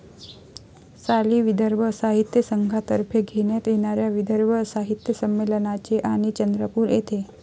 साली विदर्भ साहित्यसंघातर्फे घेण्यात येणाऱ्या विदर्भ साहित्यसंमेलनाचे, आणि, चंद्रपूर येथे....